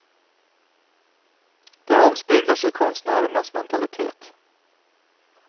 Det avspeglar sig i konstnärernas mentalitet.